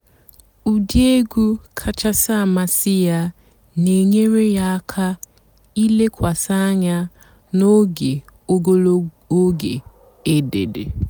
ụ́dị́ ègwú kàchàsị́ àmásị́ yá nà-ènyééré yá àká ìlékwasị́ ànyá n'óge ògólo óge èdédé.